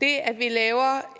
det at vi laver